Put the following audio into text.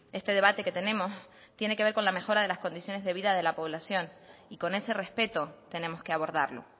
este debate que tenemos tiene que ver con la mejora de las condiciones de vida de la población y con ese respeto tenemos que abordarlo